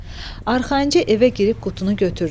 Arxayınca evə girib qutunu götürdü.